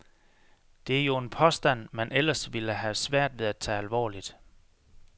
Det er jo en påstand, man ellers ville have svært ved at tage alvorligt.